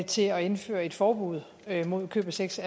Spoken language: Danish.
til at indføre et forbud mod købesex